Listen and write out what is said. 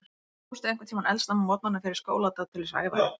Fórstu einhvern tímann eldsnemma á morgnana fyrir skóladag til þess að æfa þig?